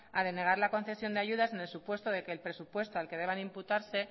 a denegar la concesión de ayudas en el supuesto de que el presupuesto al que deban de imputarse